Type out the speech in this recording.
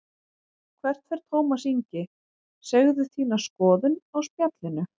Hvert fer Tómas Ingi, segðu þína skoðun á Spjallinu